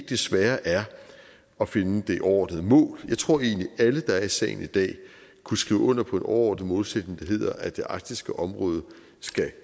det svære er at finde det overordnede mål for jeg tror egentlig at alle der er i salen i dag kunne skrive under på en overordnet målsætning der hedder at det arktiske område skal